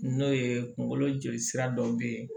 N'o ye kungolo joli sira dɔ bɛ ye